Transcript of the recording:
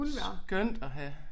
Skønt at have